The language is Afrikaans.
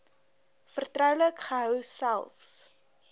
vertroulik gehou selfs